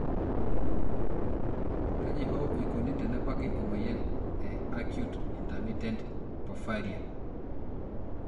Kaji hoo eikoni tenebaki emoyian e acute intermittent porphyria (AIP)?